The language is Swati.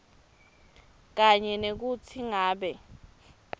kanye nekutsi ngabe